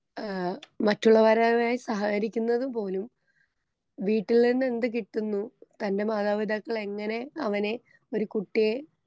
ഏ മറ്റുള്ളവരായി സഹകരിക്കുന്നത് പോലും നിന്നെന്ത്‌ കിട്ടുന്നു തന്റെ മാതാപിതാക്കളെങ്ങനെ അവനെ ഒരു കുട്ടിയെ.